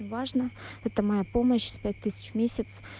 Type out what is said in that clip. важно это моя помощь пять тысяч в месяц